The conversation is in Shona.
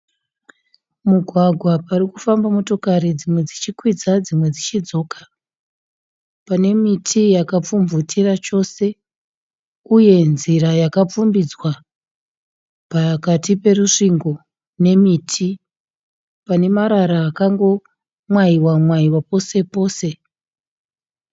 Mugwagwa pari kufamba motokari dzimwe dzichikwidza dzimwe dzichidzoka, pane miti yakapfumvutira chose uye nzira yakapfumbidzwa pakati perusvingo nemiti. Pane marara akangomwayiwa mwayiwa pose pose.